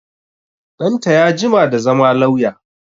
Ɗanta ya jima da zama lauya